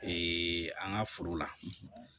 an ka foro la